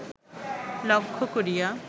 লক্ষ্য করিয়া